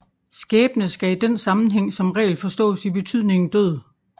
Skæbne skal i den sammenhæng som regel forstås i betydningen død